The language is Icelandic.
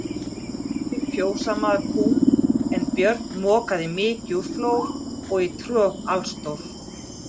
Kembdi fjósamaður kúm, en Björn mokaði mykju úr flór og í trog allstór.